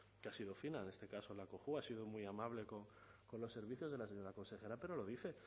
que ha sido fina en este caso la cojua ha sido muy amable con los servicios de la señora consejera pero lo dice